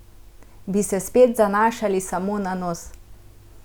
Bi se spet zanašali samo na nos?